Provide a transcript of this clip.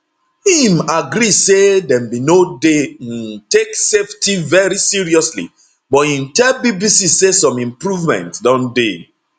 im agree say dem bin no dey um take safety veri seriously but im tell bbc say some improvements don dey